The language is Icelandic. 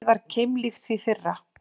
Markið var keimlíkt því fyrra